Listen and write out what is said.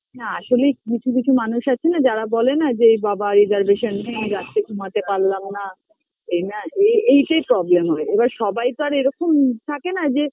না আসলে কিছু কিছু মানুষ আছে না যারা বলে না যে এ বাবা reservation নেই রাত্রে ঘুমাতে পারলাম না